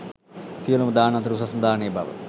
සියලුම දාන අතර උසස්ම දානය බව